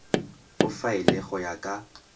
o faele go ya ka